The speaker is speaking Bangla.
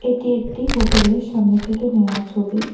এটি একটি হোটেলের সামনে থেকে নেওয়া ছবি।